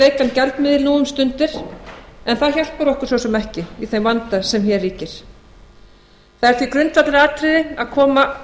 veikan gjaldmiðil nú um stundir en það hjálpar okkur svo sem ekki í þeim vanda sem hér ríkir það er því grundvallaratriði að koma